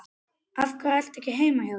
Af hverju ertu ekki heima hjá þér?